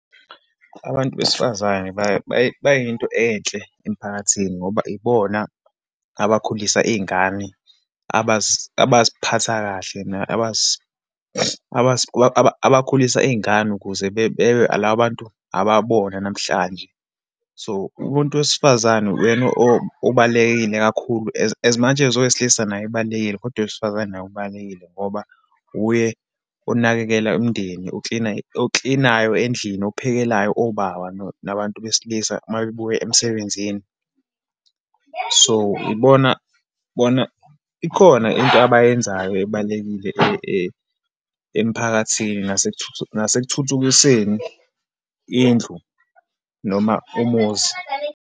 Abantu besifazane bayinto enhle emphakathini, ngoba ibona abakhulisa iyingane, abaziphatha kahle abakhulisa iyingane ukuze bebe labo bantu ababona namhlanje. So, umuntu wesifazane uyena obalulekile kakhulu. As much as owesilisa naye ebalulekile, kodwa owesifazane naye ubalulekile ngoba uye onakekela umndeni, uklina, oklinayo endlini, ophekelayo obaba, nabantu besilisa uma bebuya emsebenzini. So, ibona, bona ikhona into abayenzayo ebalulekile emphakathini nasekuthuthukiseni indlu, noma umuzi.